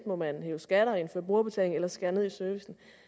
må man hæve skatter indføre brugerbetaling eller skære ned i servicen